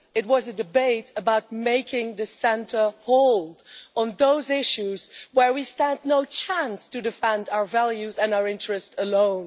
It was a debate about making the centre hold on those issues where we stand no chance of defending our values and interests alone.